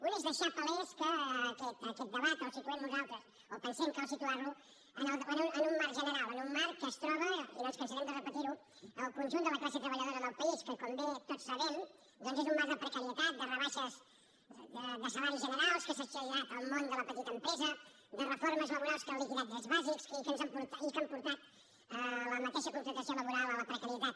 una és deixar palès que aquest debat el situem nosaltres o pensem que cal situar lo en un marc general en un marc en què es troba i no ens cansarem de repetir ho el conjunt de la classe treballadora del país que com bé tots sabem doncs és un marc de precarietat de rebaixes de salaris generals que s’ha exagerat en el món de la petita empresa de reformes laborals que han liquidat drets bàsics i que han portat la mateixa contractació laboral a la precarietat